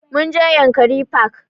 Mun je yankari park